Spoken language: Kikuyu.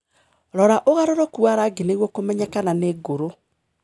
Rora ũgarũrũku wa rangi nĩguo kũmenya kana nĩngũru.